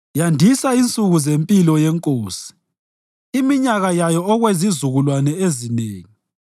Yandisa insuku zempilo yenkosi, iminyaka yayo okwezizukulwane ezinengi.